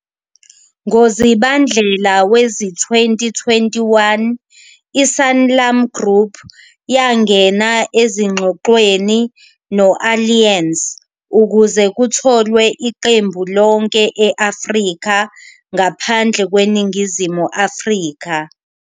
NgoZibandlela wezi-2021, i-Sanlam Group yangena ezingxoxweni no-Allianz ukuze kutholwe iqembu lonke e-Afrika ngaphandle kweNingizimu Afrika.